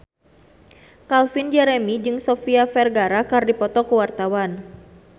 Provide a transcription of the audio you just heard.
Calvin Jeremy jeung Sofia Vergara keur dipoto ku wartawan